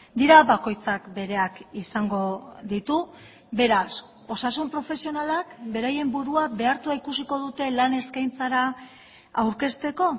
dira bakoitzak bereak izango ditu beraz osasun profesionalak beraien burua behartua ikusiko dute lan eskaintzara aurkezteko